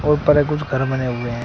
और परक कुछ घर बने हुए है।